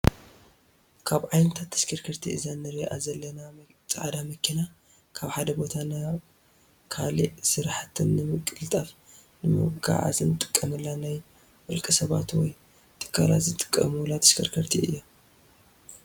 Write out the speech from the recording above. ካብ ዓይነታት ተሽከርከርቲ እዛ አንሪኣ ዘለና ፃዕዳ መኪና ካብ ሓደ ቦታ ናይ ካሊእ ስራሕትና ንምቅልጣፍ ንምጉዓዓዝ እንጥቀመላ ናይ ውልቀ ሰባት ወይ ትካላት ዝጥቀሙላ ተሽከርካሪት እያ።